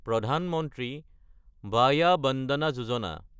প্ৰধান মন্ত্ৰী ভায়া বন্দনা যোজনা